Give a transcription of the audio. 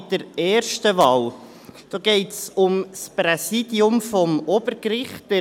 Bei der ersten Wahl geht es um das Präsidium des Obergerichts.